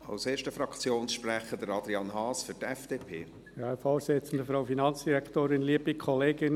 Als erstem Fraktionssprecher gebe ich Adrian Haas das Wort für die FDP.